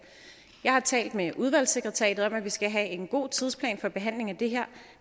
jeg har talt med udvalgsekretariatet om at vi skal have en god tidsplan for behandlingen af det her